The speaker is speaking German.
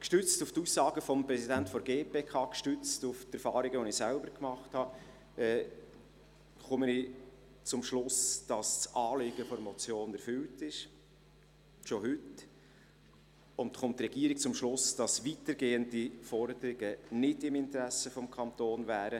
Gestützt auf die Aussagen des Präsidenten der GPK, gestützt auf Erfahrungen, die ich selber gemacht habe, komme ich zum Schluss, dass das Anliegen der Motion schon heute erfüllt ist, und die Regierung kommt zum Schluss, dass weitergehende Forderungen nicht im Interesse des Kantons wären.